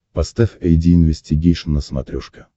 поставь айди инвестигейшн на смотрешке